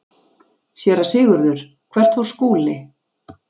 SÉRA SIGURÐUR: Hvert fór Skúli?